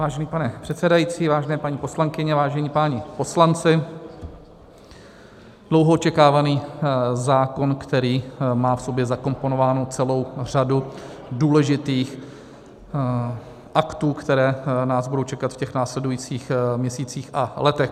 Vážený pane předsedající, vážené paní poslankyně, vážení páni poslanci: dlouho očekávaný zákon, který má v sobě zakomponovánu celou řadu důležitých aktů, které nás budou čekat v těch následujících měsících a letech.